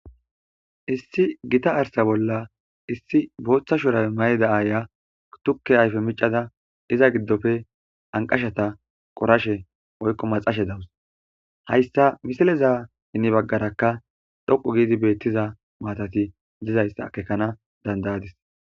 Issi gitta arththa bolla issi botha shurabe mayida aya tuke ayfe miccada iza gidoppe anqashata qorashe woyko maxashe dawus.hayssa misileza heni bagarakka dhoqqu giddi betiza mattati dizayssa akkekana dandda'adis.